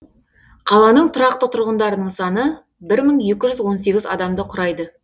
қаланың тұрақты тұрғындарының саны бір мың екі жүз он сегіз адамды құрайды